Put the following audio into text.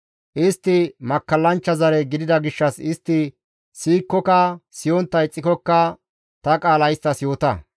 Istti makkallanchcha zare gidida gishshas istti siyikkoka siyontta ixxikokka ta qaala isttas yoota.